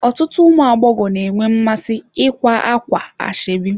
Ọtụtụ ụmụ agbọghọ nwere mmasị ikwa ákwà ashebi